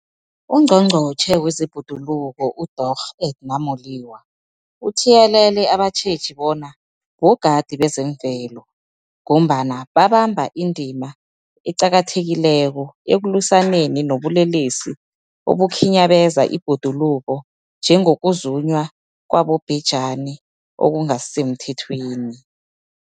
UNgqongqotjhe wezeBhoduluko uDorh Edna Molewa uthiyelele abatjheji bona bogadi bezemvelo, ngombana babamba indima eqakathekileko ekulwisaneni nobulelesi obukhinyabeza ibhoduluko, njengokuzunywa kwabobhejani okungasisemthethweni.